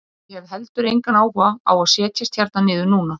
Og ég hef heldur engan áhuga á að setjast hérna niður núna.